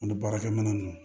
Ani baarakɛminɛn ninnu